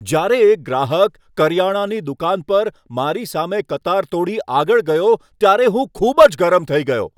જ્યારે એક ગ્રાહક કરિયાણાની દુકાન પર મારી સામે કતાર તોડી આગળ ગયો ત્યારે હું ખૂબ જ ગરમ થઈ ગયો.